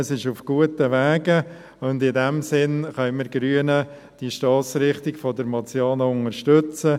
Es ist also auf guten Wegen, und in diesem Sinn können wir Grünen die Stossrichtung der Motion unterstützen.